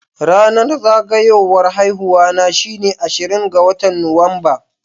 Ranar zagayuwan haihuwa shine ashirin ga watan Nuwamba.